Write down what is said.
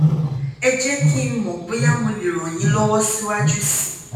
ẹ jẹ́ kí n mọ̀ bóyá mo lè ràn yín lọ́wọ́ síwájú sí i